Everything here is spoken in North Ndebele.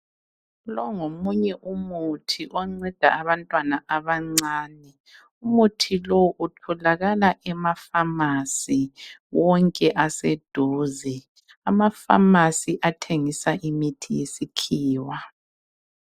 Lo ngomunye umuthi onceda abantwana abancane umuthi lo utholakala emafamasi wonke aseduze amafamasi athengisa imithi wesikhiwa.